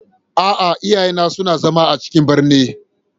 A'a, iyaye na suna zama a cikin birni.